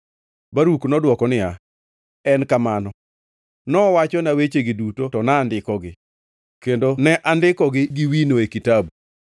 Baruk nodwoko niya, “En kamano, nowachona wechegi duto to nandikogi, kendo ne andiko gi wino e kitabu.”